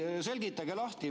Selgitage lahti.